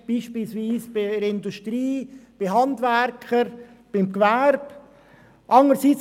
Das ist beispielsweise in der Industrie, bei Handwerkern oder im Gewerbe der Fall.